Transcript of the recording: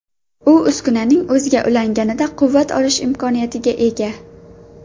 U uskunaning o‘ziga ulanganida quvvat olish imkoniga ega.